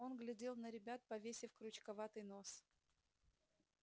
он глядел на ребят повесив крючковатый нос